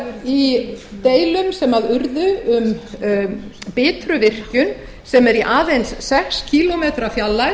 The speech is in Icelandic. í deilum sem urðu um bitruvirkjun sem er fyrirhuguð í aðeins sex kílómetra fjarlægð